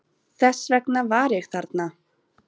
Þess vegna var ég þarna.